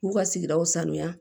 K'u ka sigidaw sanuya